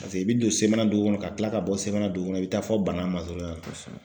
Paseke i bi don Semana dugu kɔnɔ ka tila ka bɔ Semana dugu kɔnɔ i bi taa fɔ Bana masurunya na. Kosɛbɛ.